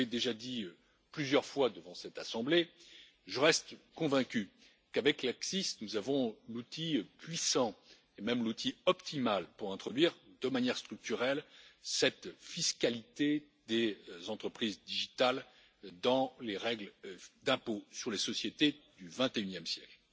Comme je l'ai déjà dit plusieurs fois devant cette assemblée, je reste convaincu qu'avec l'ACCIS, nous avons l'outil puissant et même l'outil optimal pour introduire, de manière structurelle, cette fiscalité des entreprises numériques dans les règles relatives à l'impôt sur les sociétés du XXIe siècle.